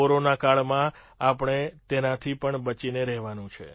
corona કાળમાં આપણે તેનાથી પણ બચીને રહેવાનું છે